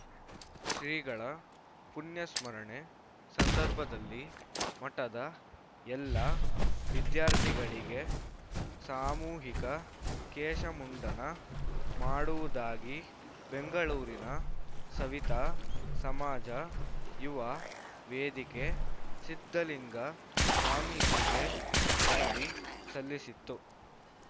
ಶ್ರೀಗಳ ಪುಣ್ಯಸ್ಮರಣೆ ಸಂದರ್ಭದಲ್ಲಿ ಮಠದ ಎಲ್ಲ ವಿದ್ಯಾರ್ಥಿಗಳಿಗೆ ಸಾಮೂಹಿಕ ಕೇಶಮುಂಡನ ಮಾಡುವುದಾಗಿ ಬೆಂಗಳೂರಿನ ಸವಿತಾ ಸಮಾಜ ಯುವ ವೇದಿಕೆ ಸಿದ್ಧಲಿಂಗ ಸ್ವಾಮೀಜಿಗೆ ಮನವಿ ಸಲ್ಲಿಸಿತ್ತು